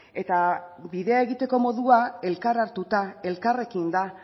eta bidea egiteko modua elkar hartuta elkarrekin da